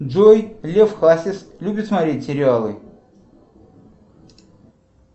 джой лев хасис любит смотреть сериалы